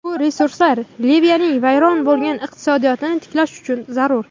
Bu resurslar Liviyaning vayron bo‘lgan iqtisodiyotini tiklash uchun zarur.